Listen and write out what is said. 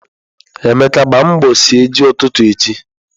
Emeka, gbaa mbọ sie ji ututu echi.